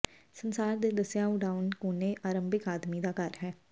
ਸੰਸਾਰ ਦੇ ਦੱਸਿਆ ਉਡਾਉਣ ਕੋਨੇ ਆਰੰਭਿਕ ਆਦਮੀ ਦਾ ਘਰ ਹੈ